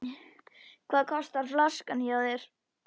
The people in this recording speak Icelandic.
Hvað kostar flaskan hjá þér?